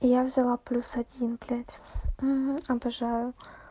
я взяла плюс один блядь обожаю